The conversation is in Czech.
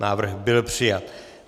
Návrh byl přijat.